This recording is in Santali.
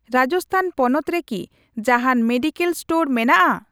ᱨᱟᱡᱚᱥᱛᱷᱟᱱ ᱯᱚᱱᱚᱛ ᱨᱮᱠᱤ ᱡᱟᱦᱟᱱ ᱢᱮᱰᱤᱠᱮᱞ ᱤᱥᱴᱳᱨ ᱢᱮᱱᱟᱜᱼᱟ ?